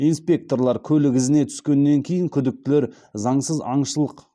инспекторлар көлік ізіне түскеннен кейін күдіктілер заңсыз аңшылық